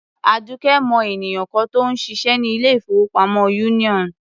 Àdùkẹ́ mọ ènìyàn kan tó ń ṣiṣẹ́ ní ilé-ìfowópamọ́ Union.